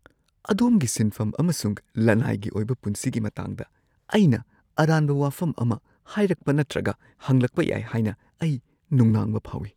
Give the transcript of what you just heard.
ꯑꯗꯣꯝꯒꯤ ꯁꯤꯟꯐꯝ ꯑꯃꯁꯨꯡ ꯂꯅꯥꯏꯒꯤ ꯑꯣꯏꯕ ꯄꯨꯟꯁꯤꯒꯤ ꯃꯇꯥꯡꯗ ꯑꯩꯅ ꯑꯔꯥꯟꯕ ꯋꯥꯐꯝ ꯑꯃ ꯍꯥꯏꯔꯛꯄ ꯅꯠꯇ꯭ꯔꯒ ꯍꯪꯂꯛꯄ ꯌꯥꯏ ꯍꯥꯏꯅ ꯑꯩ ꯅꯨꯡꯅꯥꯡꯕ ꯐꯥꯎꯏ ꯫